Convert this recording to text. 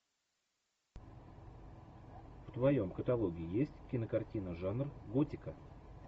в твоем каталоге есть кинокартина жанр готика